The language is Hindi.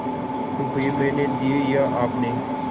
रुपये मैंने दिये या आपने